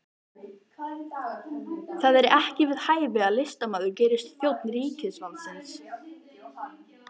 Það er ekki við hæfi að listamaður gerist þjónn ríkisvaldsins